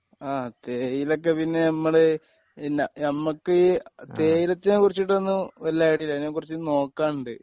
ആ തേയിലക്കെ പിന്നെ നമ്മടെ പിന്നെ നമ്മക്ക് തേയിലത്തിനെ കുറിച്ചിട്ടൊന്നും വല്ല്യ ഐഡിയ ഇല്ല അതിനെക്കുറിച്ച് നോക്കാനുണ്ട്.